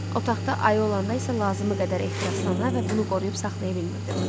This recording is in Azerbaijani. Otaqda ayı olanda isə lazımı qədər ehtiraslana və bunu qoruyub saxlaya bilmirdim.